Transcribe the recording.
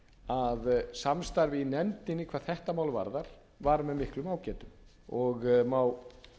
að samstarfið í nefndinni hvað þetta mál varðar var með miklum ágætum og má